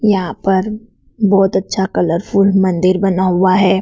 यहां पर बहोत अच्छा कलरफुल मंदिर बना हुआ है।